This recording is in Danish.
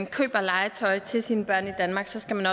køber legetøj til sine børn i danmark skal man